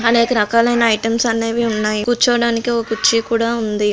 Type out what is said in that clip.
అనేక రకాలైన ఐటమ్స్ అనేవి ఉన్నాయి. కూర్చోడానికి ఒక కుర్చీ కూడా ఉంది.